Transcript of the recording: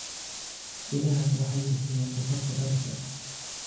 Idaha waxay bixiyaan dhogorta dharka.